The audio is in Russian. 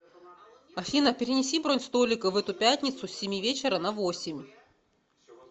афина перенеси бронь столика в эту пятницу с семи вечера на восемь